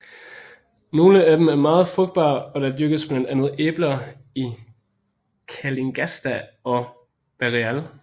Nogle af dem er meget frugtbare og der dyrkes blandt andet æbler i Calingasta og Barreal